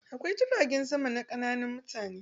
Akwai jiragen sama na ƙananan mutane.